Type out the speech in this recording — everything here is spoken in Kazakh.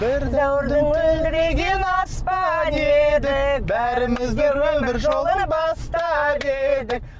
бір дәуірдің мөлдіреген аспаны едік бәріміз де өмір жолын бастап едік